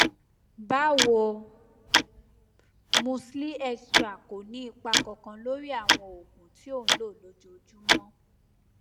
bawo musli extra kò ní ipa kankan lórí àwọn ogun tí o ń lo lójoojúmọ